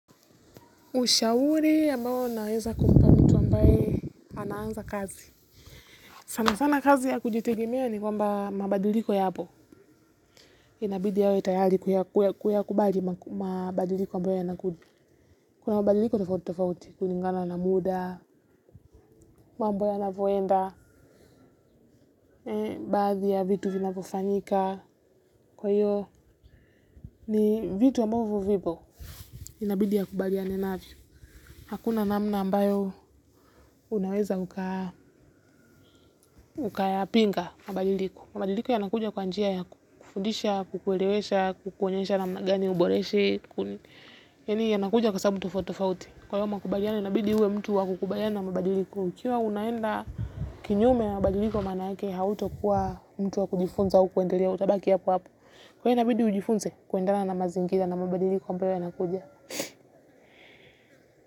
Ushauri ambao naweza kumpa mtu ambaye anaanza kazi sana sana kazi ya kujitegemea ni kwamba mabadiliko yapo. Inabidi awe tayari kuyakubali mabadiliko ambayo yanakuja. Kuna mabadiliko tofauti tofauti. Kulingana na muda, mambo yanavyoenda, baadhi ya vitu vinavyofanyika. Kwa hiyo ni vitu ambavyo vipo. Inabidi akubaliane nayo. Hakuna namna ambayo unaweza ukayapinga mabadiliko. Mabadiliko yanakuja kwa njia ya kufundisha, kukuelesha, kukuonyesha namna gani uboreshe. Yani yanakuja kwa sababu tofauti tofauti. Kwa hayo makubaliano, inabidi uwe mtu wakukubaliana na mabadiliko. Ikiwa unaenda kinyume ya mabadiliko manake, hautokuwa mtu wakujifunza au kuendelea utabaki hapo-wapo. Kwa hiyo inabidi ujifunze, kuendelea na mazingira na mabadiliko ambayo yanakuja.